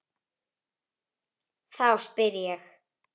Þá spyr ég.